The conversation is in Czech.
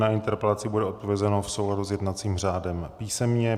Na interpelaci bude odpovězeno v souladu s jednacím řádem písemně.